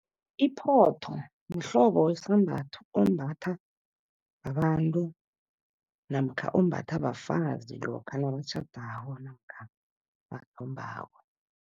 Iphotho mhlobo wesambatho, ombathwa babantu namkha ombathwa bafazi lokha nabatjhadako namkha bathombako.